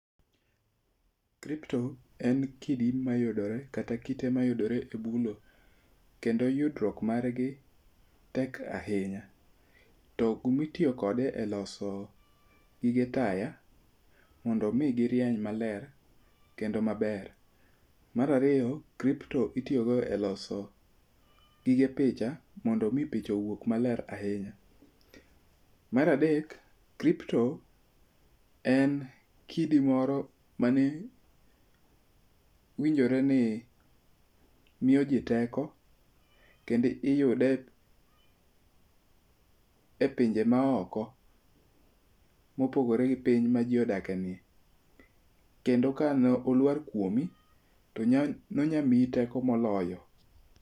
Kripto en kidi mayudore kata kite mayudore e bulo. Kendo yudruok margi, tek ahinya. To kumitiyo kode e loso gige taya, mondo mi girieny maler kendo maber. Mar ariyo kripto itiyogo e loso, gige picha mondo mi picha owuog maler ahinya. Mar adek kripto en kidi moro mane winjore ni miyo jii teko, kendi iyude e pinje maoko mopogore gi piny ma jii odakeni. Kendo kane olwar kuomi, to nonyamiyi teko moloyo